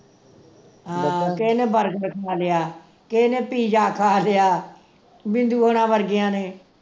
ਆਹ ਕਿਹੇ ਨੇ burger ਖਾ ਲਿਆ ਕਿਹੇ ਨੇ pizza ਖਾ ਲਿਆ ਬਿੰਦੂ ਹੋਣਾ ਵਰਗੀਆਂ ਨੇ